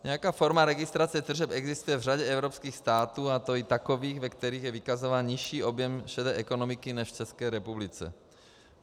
Nějaká forma registrace tržeb existuje v řadě evropských států, a to i takových, ve kterých je vykazován nižší objem šedé ekonomiky než v České republice.